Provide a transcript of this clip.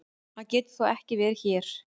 Hann getur þó ekki verið hér!